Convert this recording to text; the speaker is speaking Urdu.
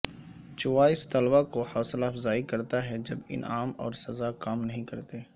چوائس طلباء کو حوصلہ افزائی کرتا ہے جب انعام اور سزا کام نہیں کرتے